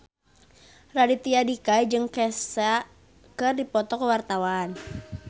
Raditya Dika jeung Kesha keur dipoto ku wartawan